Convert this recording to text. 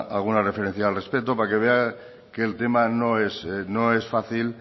alguna referencia al respecto para que vea que el tema no es fácil